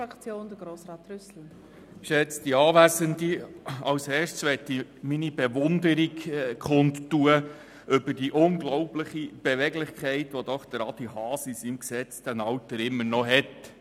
Zuerst möchte ich meine Bewunderung kundtun, für die unglaubliche Beweglichkeit, welche Adrian Haas in seinem gesetzten Alter immer noch hat.